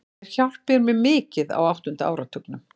Þeir hjálpuðu mér mikið á áttunda áratugnum.